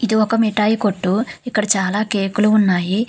ఇది ఒక మిటాయి కొట్టు ఇక్కడ చాలా కేకులు ఉన్నాయి.